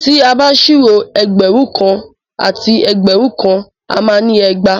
Tí a bá ṣírò ẹgbẹ̀rún kan àti ẹgbẹ̀rún kan a má ni ẹgbàá.